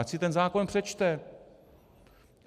Ať si ten zákon přečte.